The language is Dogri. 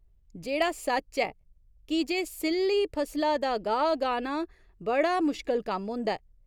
जेह्ड़ा सच्च ऐ की जे सि'ल्ली फसला दा गाह् गाह्‌ना बड़ा मुश्कल कम्म होंदा ऐ।